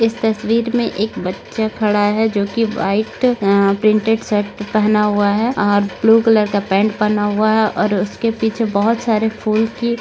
इस तस्वीर में एक बच्चा खड़ा है जो की व्हाइट आ प्रिंटेड शर्ट पहना हुआ है और ब्लू कलर का पैंट पहना हुआ है और उसके पीछे बहुत सारे फूल की--